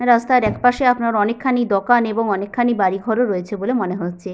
রাস্তার একপাশে আপনার অনেকখানি দোকান এবং অনেকখানি বাড়িঘর ও রয়েছে বলে মনে হচ্ছে।